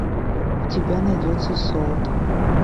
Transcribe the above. у тебя найдется солт